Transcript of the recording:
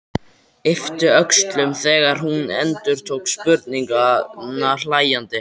Yppti öxlum þegar hún endurtók spurninguna hlæjandi.